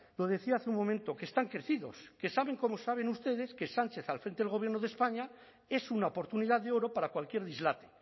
lo decía hace un momento que están crecidos que saben como saben ustedes que sánchez al frente del gobierno de españa es una oportunidad de oro para cualquier dislate